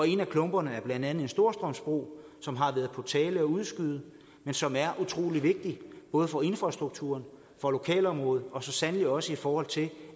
en af klumperne er blandt andet en storstrømsbro som det har været på tale at udskyde men som er utrolig vigtig både for infrastrukturen og for lokalområdet og så sandelig også fordi